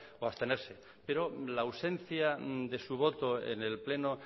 o abstenerse pero la ausencia de su voto en el pleno